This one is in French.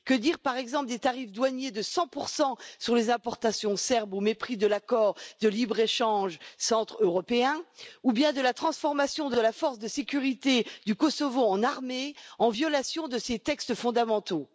Que dire, par exemple, des tarifs douaniers de 100 sur les importations serbes, au mépris de l'accord de libre échange centre européen, ou bien de la transformation de la force de sécurité du Kosovo en armée, en violation de ses textes fondamentaux?